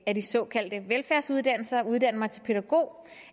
af de såkaldte velfærdsuddannelser og uddanne mig til pædagog